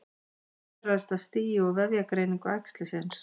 Meðferð ræðst af stigi og vefjagreiningu æxlisins.